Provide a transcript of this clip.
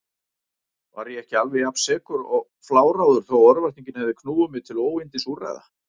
Var ég ekki alveg jafnsekur og fláráður þó örvæntingin hefði knúið mig til óyndisúrræða?